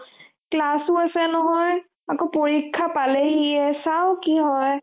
class ও আছে নহয় আকৌ পৰীক্ষা পালেহিয়ে চাও কি হয়